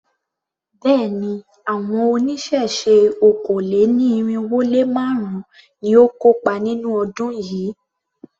Béèni, àwọn oníṣẹ̀ṣe okòó-lé-ní-irínwó-lé-márùn-ún ni ó kópa nínú ọdún yìí.